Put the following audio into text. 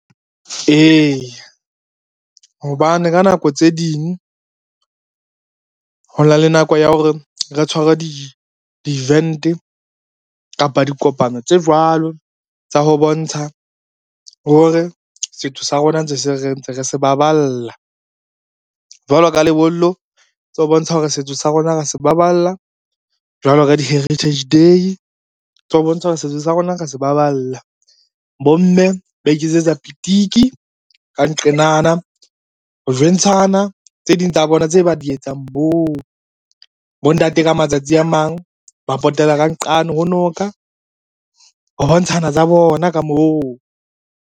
Eya, hobane ka nako tse ding ho na le nako ya hore re tshware di-event kapa dikopano tse jwalo tsa ho bontsha hore setso sa rona ntse re se baballa. Jwalo ka lebollo tsa ho bontsha hore setso sa rona ra se baballa, jwalo ka di-Heritage Day tso ho bontsha hore setso sa rona ra se baballa. Bomme ba iketsetsa pitiki ka nqenana ho jwentshana tse ding tsa bona tse ba di etsang moo, bontate ka matsatsi a mang ba potela ka nqane ho noka ho bontshana tsa bona ka moo.